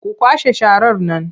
Ku kwashe sharar nan!